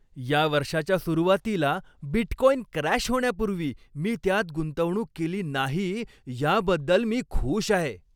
या वर्षाच्या सुरुवातीला बिटकॉइन क्रॅश होण्यापूर्वी मी त्यात गुंतवणूक केली नाही याबद्दल मी खुश आहे.